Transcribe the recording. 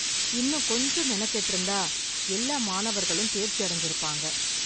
இன்னும் கொஞ்சம் மெனக்கெட்டு இருந்தா எல்லா மாணவர்களும் தேர்ச்சி அடஞ்சுருப்பாங்க.